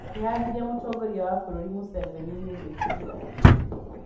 Akĩhahithia mũtongoria wa bũrũri Museveni nĩ ‘’gwitigĩra andũ’’